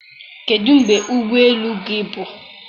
kedụ mgbe ụgbọ elu gị bụ